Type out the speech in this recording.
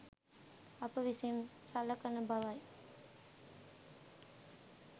අප විසින් සලකන බවයි.